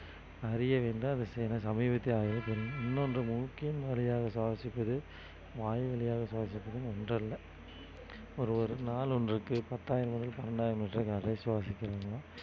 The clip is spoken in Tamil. அறிய வேண்டும் இன்னொன்று மூக்கின் வழியாக சுவாசிப்பது வாய் வழியாக சுவாசிப்பதும் ஒன்று அல்ல ஒரு ஒரு நாள் ஒன்றுக்கு பத்தாயிரம் முதல் பன்னிரண்டாயிரம் வரை சுவாசிக்கிறீங்க